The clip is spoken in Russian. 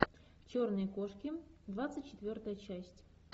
черные кошки двадцать четвертая часть